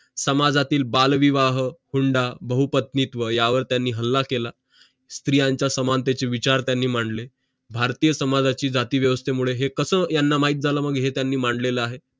समाजातील बालविवाह हुंडा बहुपत्नीत्व या वर त्यांनी हल्ला केला स्त्रियांचा समानतेचे विचार त्यांनी मांडले भारतीय समाजातील जाती व्यवस्थे मूळ हे कस माहित झालं मग हे मांडलेलं आहे